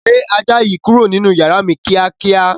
Gbé ajá yìí kúrò nínú yàrá mi ni kíákíá.